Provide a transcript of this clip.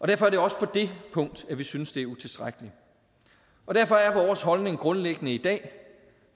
derfor er det også på det punkt at vi synes det er utilstrækkeligt og derfor er vores holdning grundlæggende i dag